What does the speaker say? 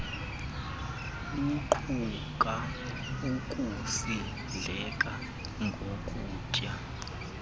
luquka ukusindleka ngokutya